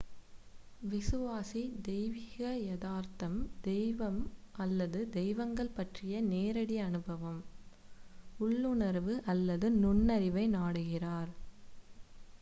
விசுவாசி தெய்வீக யதார்த்தம்/தெய்வம் அல்லது தெய்வங்கள் பற்றிய நேரடி அனுபவம் உள்ளுணர்வு அல்லது நுண்ணறிவை நாடுகிறார்